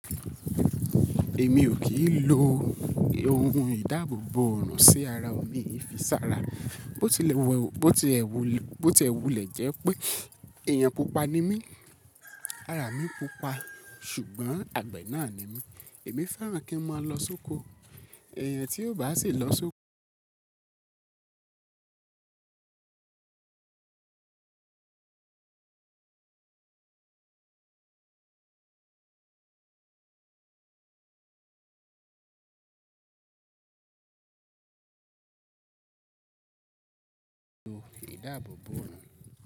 Èmi ò kì í lo ohun ìdáàbòbò ọ̀orun sí ara ọ̀ mii fi sára. Bó ti è wulẹ̀ jẹ́ pé ẹ̀yàn pupa ni mí, ara mi pupa, ṣùgbọ́n àgbẹ̀ náà ni mí. Èmi fẹ́ràn kí n máa lọ sóko. Ẹ̀yàn tí ó bá sì lọ sóko, da abobo.